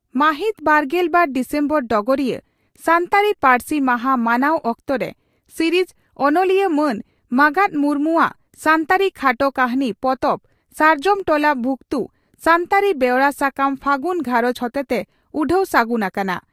ᱢᱟᱦᱤᱛ ᱵᱟᱨᱜᱮᱞ ᱵᱟᱨ ᱰᱤᱥᱮᱢᱵᱚᱨ (ᱰᱚᱜᱚᱨᱤᱭᱟᱹ) ᱺ ᱥᱟᱱᱛᱟᱲᱤ ᱯᱟᱹᱨᱥᱤ ᱢᱟᱦᱟ ᱢᱟᱱᱟᱣ ᱚᱠᱛᱚᱨᱮ ᱥᱤᱨᱤᱡᱽ ᱚᱱᱚᱞᱤᱭᱟᱹ ᱢᱟᱱ ᱢᱟᱜᱟᱛ ᱢᱩᱨᱢᱩ ᱟᱜ ᱥᱟᱱᱛᱟᱲᱤ ᱠᱷᱟᱴᱚ ᱠᱟᱹᱦᱱᱤ ᱯᱚᱛᱚᱵ "ᱥᱟᱨᱡᱚᱢ ᱴᱚᱞᱟ ᱵᱷᱩᱠᱛᱩ" ᱥᱟᱱᱛᱟᱲᱤ ᱵᱮᱣᱨᱟ ᱥᱟᱠᱟᱢ 'ᱯᱷᱟᱹᱜᱩᱱ ᱜᱷᱟᱨᱚᱸᱡᱽ' ᱦᱚᱛᱮᱛᱮ ᱩᱰᱷᱟᱹᱣ ᱥᱟᱹᱜᱩᱱ ᱟᱠᱟᱱᱟ ᱾